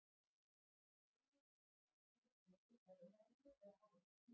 Fjölnir fékk fæst mörk á sig á heimavelli eða aðeins fjögur.